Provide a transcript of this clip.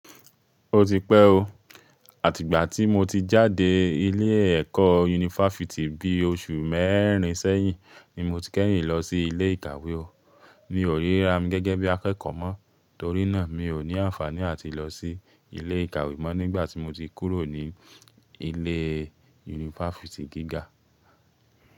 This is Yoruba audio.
Ó ti pẹ́ o. Àtìgbà tí mo ti jáde ilé ẹ̀kọ́ yunifásítì bí oṣù mẹ́rin sẹ́yìn ni mo ti kẹ́yìn lọ sí ilé ìkàwé o. Mi ò ríra mi gẹ́gẹ́ bí akẹ́kọ̀ọ́ mọ́, torí náà mi ò ní àǹfàní àti lọ sí ilé ìkàwé mọ́ nígbà tí mo ti kúrò ní ilé yunifásítì gíga.